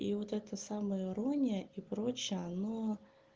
и вот эта самоирония и прочие оно